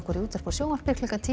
í útvarpi og sjónvarpi klukkan tíu